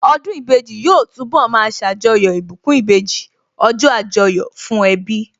Ọdún ìbejì yóò túnbọ̀ ma ṣàjọyọ̀ ìbùkún ìbejì, ọjọ́ Àjọyọ̀ fún ẹbí